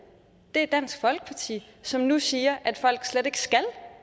er dansk folkeparti som nu siger at folk slet ikke skal